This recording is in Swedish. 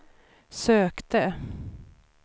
sökte